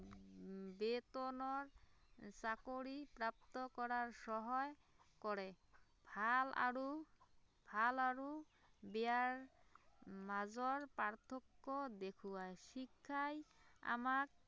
বেতনৰ চাকৰি প্ৰাপ্ত কৰাত সহায় কৰে, ভাল আৰু ভাল আৰু বেয়াৰ মাজৰ পাৰ্থক্য দেখুৱায়, শিক্ষাই আমাক